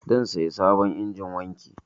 Zan saya sabon injin wanki.